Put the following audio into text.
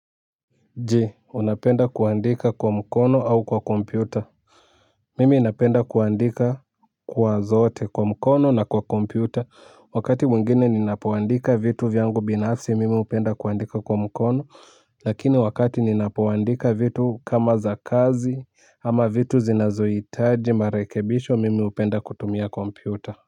Je unapenda kuandika kwa mkono au kwa kompyuta mimi napenda kuandika kwa zote kwa mkono na kwa kompyuta wakati mwingine ninapoandika vitu vyangu binafsi mimi hupenda kuandika kwa mkono lakini wakati ninapoandika vitu kama za kazi ama vitu zinazoitaji marekebisho mimi upenda kutumia kompyuta.